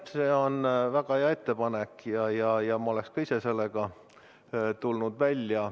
Jah, see on väga hea ettepanek ja ma oleksin ka ise sellega välja tulnud.